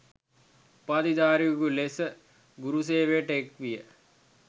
උපාධිධාරියකු ලෙස ගුරුසේවයට එක්විය